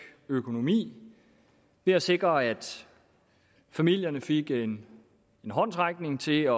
økonomi ved at sikre at familierne fik en håndsrækning til at